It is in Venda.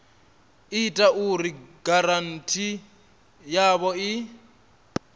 ita uri giranthi yavho i